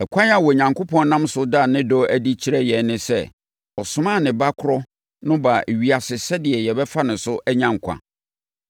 Ɛkwan a Onyankopɔn nam so da ne dɔ adi kyerɛ yɛn ne sɛ, ɔsomaa ne Ba korɔ no baa ewiase sɛdeɛ yɛbɛfa ne so anya nkwa.